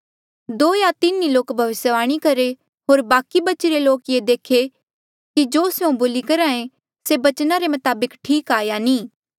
दो या तीन ही लोक भविष्यवाणी करहे होर बाकि बचिरे लोक ये देखे कि जो स्यों बोली करहे से बचना रे मताबक ठीक या नी